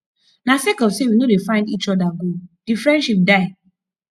na sake of sey we no dey find eachother go di friendship die